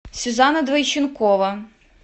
сюзанна двойченкова